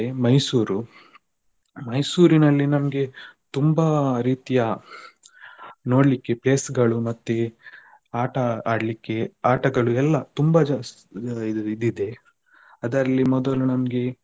Mysore, Mysore ನಲ್ಲಿ ನಮ್ಗೆ ತುಂಬ ರೀತಿಯ ನೋಡ್ಲಿಕ್ಕೆ place ಗಳು ಮತ್ತೆ ಆಟ ಆಡ್ಲಿಕ್ಕೆ ಆಟಗಳು ಎಲ್ಲ ತುಂಬ ಜ~ ಇದ್ ಇದೆ ಅದರಲ್ಲಿ ಮೊದಲು ನಮ್ಗೆ.